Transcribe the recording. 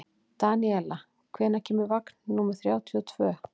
Daníela, hvenær kemur vagn númer þrjátíu og tvö?